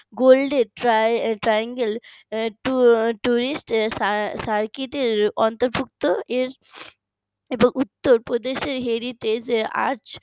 golden tri~ triangle tu~ tourist sa~ circuit এর অন্তর্ভুক্ত এর এবং উত্তরপ্রদেশের heritage এ আজ